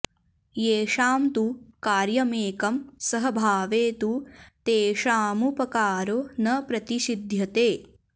येषां तु कार्यमेकं सहभावे तु तेषामुपकारो न प्रतिषिध्यते